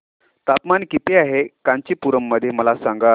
तापमान किती आहे कांचीपुरम मध्ये मला सांगा